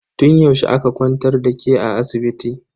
Tun yaushe aka kwantar da ke a asibiti?